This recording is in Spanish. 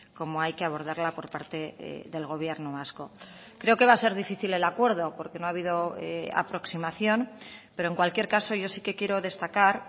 como hay que abordarla por parte del gobierno vasco creo que va a ser difícil el acuerdo porque no ha habido aproximación pero en cualquier caso yo sí que quiero destacar